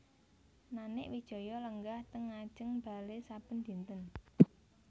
Nanik Wijaya lenggah teng ngajeng bale saben dinten